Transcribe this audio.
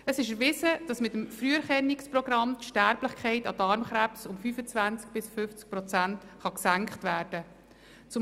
Es ist erwiesen, dass mit einem Früherkennungsprogramm die Sterblichkeit an Darmkrebs um 25 bis 50 Prozent gesenkt werden kann.